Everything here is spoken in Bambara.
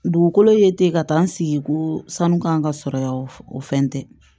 Dugukolo ye ten ka taa n sigi ko sanu kan ka sɔrɔ yan o fɛn tɛ